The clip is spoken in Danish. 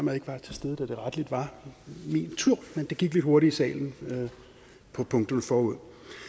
jeg ikke var til stede da det rettelig var min tur men det gik lidt hurtigt i salen med punkterne forud